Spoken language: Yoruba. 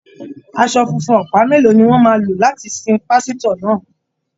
Aṣọ funfun ọ̀pá mélòó ni wọ́n máa lò láti sin pásítọ̀ náà??